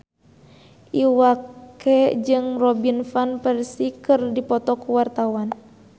Iwa K jeung Robin Van Persie keur dipoto ku wartawan